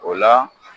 O la